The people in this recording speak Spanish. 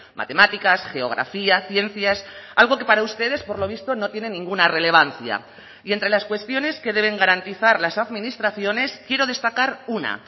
matemáticas geografía ciencias algo que para ustedes por lo visto no tiene ninguna relevancia y entre las cuestiones que deben garantizar las administraciones quiero destacar una